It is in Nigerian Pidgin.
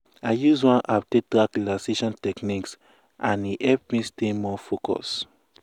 i use one app take track relaxation techniques and e help me stay more focus.